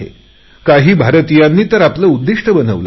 काही भारतीयांनी तर आपले उद्दिष्ट बनवले आहे